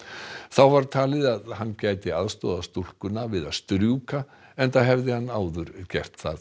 þá var talið að hann gæti aðstoðað stúlkuna við að strjúka enda hafði hann áður gert það